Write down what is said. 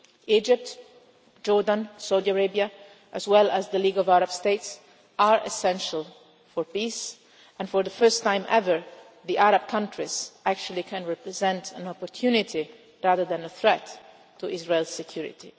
Egypt, Jordan and Saudi Arabia, as well as the League of Arab States, are essential for peace and, for the first time ever, the Arab countries can actually represent an opportunity for, rather than a threat to, Israel's security.